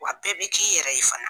Wa bɛɛ bɛ k'i yɛrɛ ye fana.